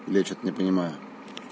я что-то не понимаю